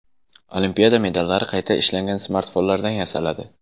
Olimpiada medallari qayta ishlangan smartfonlardan yasaladi.